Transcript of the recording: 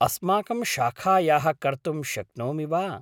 अस्माकं शाखायाः कर्तुं शक्नोमि वा?